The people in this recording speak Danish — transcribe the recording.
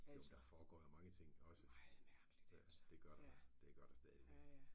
Jo men der foregår jo mange ting også det gør der det gør der stadigvæk